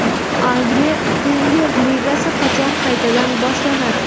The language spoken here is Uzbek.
Angliya Premyer Ligasi qachon qaytadan boshlanadi?